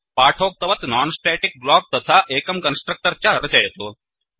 पाठोक्तवत् non static block तथा एकं constructor च रचयतु